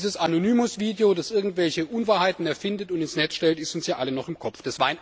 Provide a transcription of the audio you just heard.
Dieses Anonymous Video, das irgendwelche Unwahrheiten erfindet und ins Netz stellt, ist uns ja allen noch im Kopf.